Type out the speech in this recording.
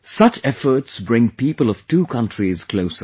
Such efforts bring people of two countries closer